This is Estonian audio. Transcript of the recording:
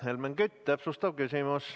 Helmen Kütt, täpsustav küsimus.